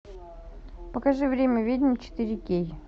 покажи время ведьм четыре кей